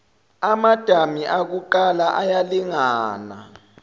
amadami akuqala ayalingana